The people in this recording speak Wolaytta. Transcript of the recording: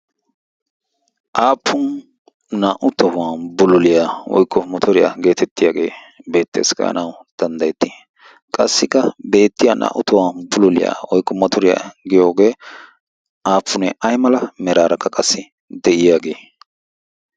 aappun naa'u tohuwan buloliyaa oiqqo matoriyaa geetettiyaagee beetta eskkayanau danddayetti qassikka beettiya naa'u tohwan pululiyaa oiqqu matoriyaa giyoogee aafunee ay mala meraarakka qassi de'iyaagee?